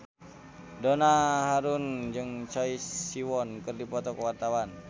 Donna Harun jeung Choi Siwon keur dipoto ku wartawan